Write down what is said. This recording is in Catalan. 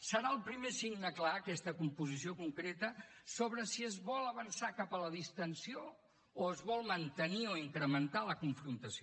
serà el primer signe clar aquesta composició concreta sobre si es vol avançar cap a la distensió o es vol mantenir o incrementar la confrontació